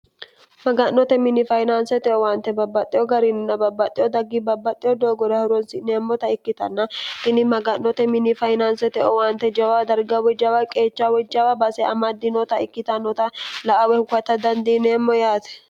maga'note mini fayinaansete owaante babbaxxeo garinna babbaxxeo daggi babbaxxeo doogore hironsi'neemmota ikkitanna kini maga'note mini fayinaansete owaante jawa darga wojjaawa qeecha wojjawa base amaddinota ikkitannota la awe hukata dandiineemmo yaate